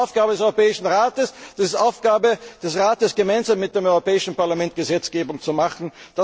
Das ist nicht Aufgabe des Europäischen Rates, es ist die Aufgabe des Rates, gemeinsam mit dem Europäischen Parlament Gesetzgebung zu machen.